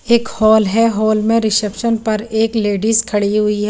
एक होल हे होल में रिशेप्सन पर एक लेडिज खड़ी हुई हैं।